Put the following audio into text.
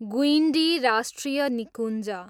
गुइन्डी राष्ट्रिय निकुञ्ज